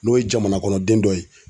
N'o ye jamanakɔnɔden dɔ ye.